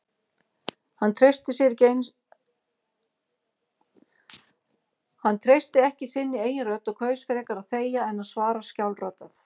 Hann treysti ekki sinni eigin rödd og kaus frekar að þegja en að svara skjálfraddað.